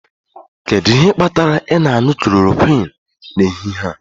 Kedu ihe kpatara ị na-aṅụ klorokwịnụ n'ehihie a?